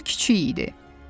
bu kiçik idi.